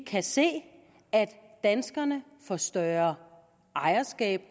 kan se at danskerne får større ejerskab